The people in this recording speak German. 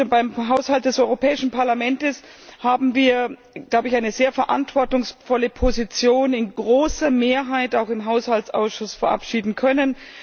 Beim Haushalt des Europäischen Parlaments haben wir eine sehr verantwortungsvolle Position in großer Mehrheit auch im Haushaltsausschuss verabschieden können.